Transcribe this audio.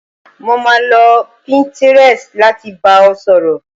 Mo máa lo pinterest láti bá ọ sọ̀rọ̀